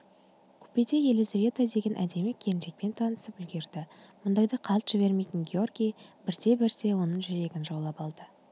купеде елизавета деген әдемі келіншекпен танысып үлгерді мұндайды қалт жібермейтін георгий бірте-бірте оның жүрегін жаулап алды